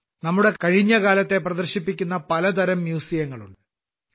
നമ്മുടെ ഭാരതത്തിൽ നമ്മുടെ കഴിഞ്ഞ കാലത്തെ പ്രദർശിപ്പിക്കുന്ന പലതരം മ്യൂസിയങ്ങളുണ്ട്